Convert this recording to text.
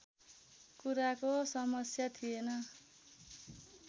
कुराको समस्या थिएन